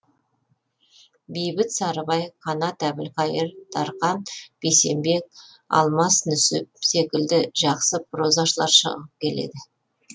бейбіт сарыбай қанат әбілқайыр дархан бейсенбек алмас нүсіп секілді жақсы прозашылар шығып келеді